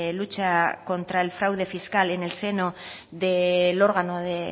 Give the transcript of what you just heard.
lucha contra el fraude fiscal en el seno del órgano de